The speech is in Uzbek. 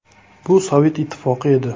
Bu Sovet ittifoqi edi.